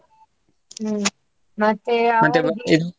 ಹ್ಮ್ಮ್ ಮತ್ತೆ ಅವರಿಗೆ